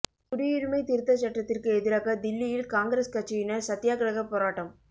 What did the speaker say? குடியுரிமைத் திருத்தச் சட்டத்துக்கு எதிராக தில்லியில் காங்கிரஸ் கட்சியினர் சத்தியாகிரகப் போராட்டம்